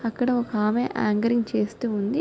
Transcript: అక్కడ ఒక ఆమె చేస్తూవుంది.